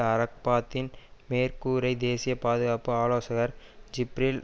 அரபாத்தின் மேற்குகரை தேசிய பாதுகாப்பு ஆலோசகர் ஜிப்ரில்